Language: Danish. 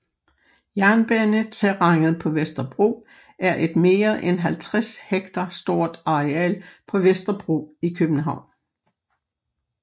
Jernbaneterrænet på Vesterbro er et mere end 50 hektar stort areal på Vesterbro i København